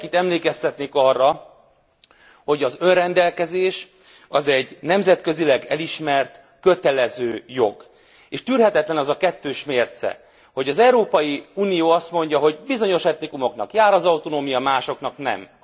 Mindenkit emlékeztetnék arra, hogy az önrendelkezés az egy nemzetközileg elismert kötelező jog, és tűrhetetlen az a kettős mérce, hogy az Európai Unió azt mondja, hogy bizonyos etnikumoknak jár az autonómia, másoknak nem.